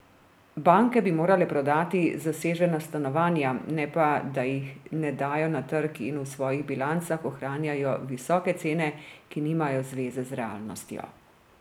Banke bi morale prodati zasežena stanovanja, ne pa da jih ne dajo na trg in v svojih bilancah ohranjajo visoke cene, ki nimajo zveze z realnostjo.